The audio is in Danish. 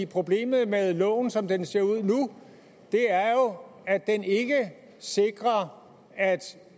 problemet med loven som den ser ud nu er jo at den ikke sikrer at